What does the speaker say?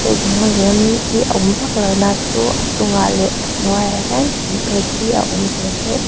thil dang lem hi a awm vak lo na chu a chungah leh a hnuaiah hian thing phek hi a awm ve ve a.